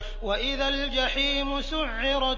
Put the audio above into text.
وَإِذَا الْجَحِيمُ سُعِّرَتْ